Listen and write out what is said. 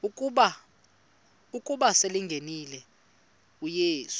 ukuba selengenile uyesu